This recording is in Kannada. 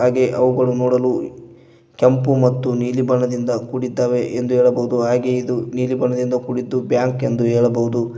ಹಾಗೆ ಅವುಗಳು ನೋಡಲು ಕೆಂಪು ಮತ್ತು ನೀಲಿ ಬಣ್ಣದಿಂದ ಕೂಡಿದ್ದಾವೆ ಎಂದು ಹೇಳಬಹುದು ಹಾಗೆಯೇ ಇದು ನೀಲಿ ಬಣ್ಣದಿಂದ ಕೂಡಿದ್ದು ಬ್ಯಾಂಕ್ ಎಂದು ಹೇಳಬಹುದು.